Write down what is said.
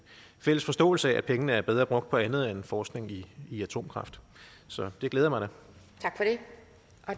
fælles forståelse af at pengene er bedre brugt på andet end forskning i i atomkraft så det glæder mig